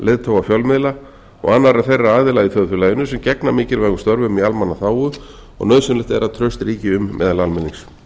leiðtoga fjölmiðla og annarra þeirra aðila í þjóðfélaginu sem gegna mikilvægum störfum í almannaþágu og nauðsynlegt er að traust ríki um meðal almennings